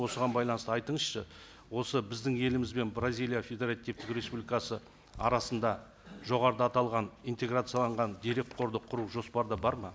осыған байланысты айтыңызшы осы біздің еліміз бен бразилия федеративтік республикасы арасында жоғарыда аталған интеграцияланған дерекқорды құру жоспарда бар ма